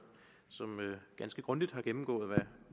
som ganske grundigt har gennemgået hvad